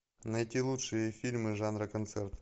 найти лучшие фильмы жанра концерт